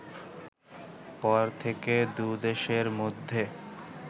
পর থেকে দুদেশের মধ্যে